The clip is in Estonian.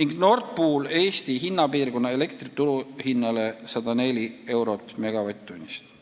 ning Nord Pool Eesti hinnapiirkonna elektri turuhinnale 104 eurot megavatt-tunnist.